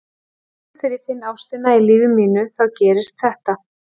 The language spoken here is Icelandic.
Loksins þegar ég finn ástina í lífi mínu þá gerist þetta.